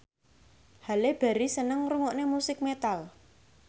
Halle Berry seneng ngrungokne musik metal